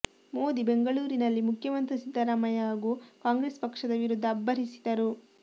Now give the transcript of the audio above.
ಮೋದಿ ಬೆಂಗಳೂರಿನಲ್ಲಿ ಮುಖ್ಯಮಂತ್ರಿ ಸಿದ್ದರಾಮಯ್ಯ ಹಾಗೂ ಕಾಂಗ್ರೆಸ್ ಪಕ್ಷದ ವಿರುದ್ಧ ಅಬ್ಬರಿಸಿದ್ದರು